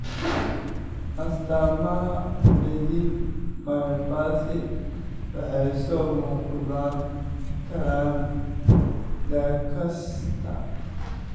Astaamaha Bethlem myopathy waxay soo muuqan karaan da' kasta.